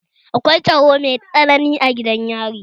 Akwai tsaro mai tsanani a gidan yari